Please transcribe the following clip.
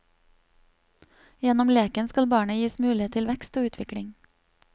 Gjennom leken skal barnet gis mulighet til vekst og utvikling.